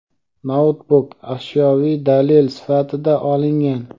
noutbuk ashyoviy dalil sifatida olingan.